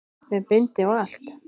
Með bindi og allt!